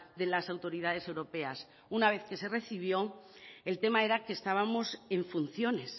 de las autoridades europeas una vez que se recibió el tema era que estábamos en funciones